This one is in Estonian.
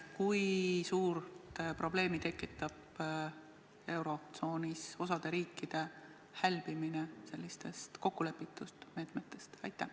Kui suurt probleemi tekitab eurotsoonis osa riikide hälbimine sellistest kokkulepitud meetmetest?